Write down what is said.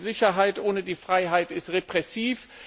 Sicherheit ohne Freiheit ist repressiv.